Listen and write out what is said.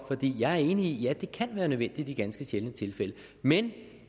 jeg er enig i at det kan være nødvendigt i ganske sjældne tilfælde men